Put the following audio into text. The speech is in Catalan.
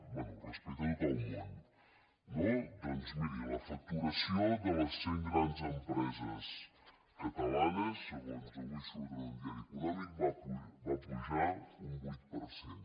bé respecte a tot el món no doncs miri la fac·turació de les cent grans empreses catalanes segons avui surt en un diari econòmic va pujar un vuit per cent